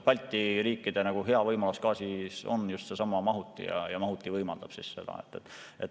Balti riikide hea võimalus gaasi puhul on just seesama mahuti, mahuti võimaldab seda.